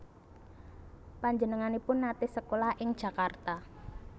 Panjenenganipun naté sekolah ing Jakarta